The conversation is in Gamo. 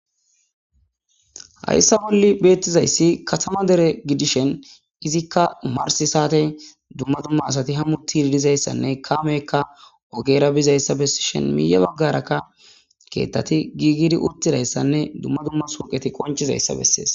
Hayssa bolli beettizayssi katama dere gidishen izikka marsi saate dumma dumma asati hammutti didizayssanne kaamekka ogera bizayssa bessishen miya baggarakka keettati giigidi uttidayssanne dumma dumma soqeti qonchizayssa bessees.